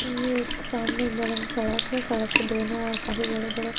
ये एक सामने बड़ा सा सड़क है सड़क के दोनों ओर काफी बड़े-बड़े --